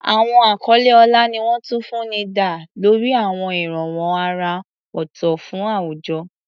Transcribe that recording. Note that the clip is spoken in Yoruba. Àwọn àkọlé ọlá ni wọ́n tún fún ní dá lórí àwọn ìrànwọ́ àrà ọ̀tọ̀ fún àwùjọ.